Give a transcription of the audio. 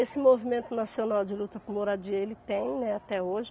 Esse movimento nacional de luta por moradia, ele tem, né, até hoje.